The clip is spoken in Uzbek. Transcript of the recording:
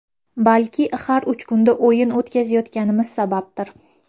Balki har uch kunda o‘yin o‘tkazayotganimiz sababdir.